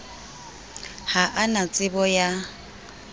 ha a na tsebo ya